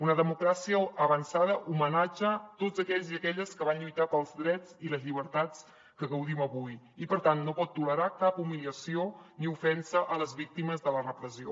una democràcia avançada homenatja tots aquells i aquelles que van lluitar pels drets i les llibertats de què gaudim avui i per tant no pot tolerar cap humiliació ni ofensa a les víctimes de la repressió